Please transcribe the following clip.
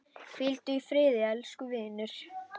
Hvíldu í friði, elsku vinur.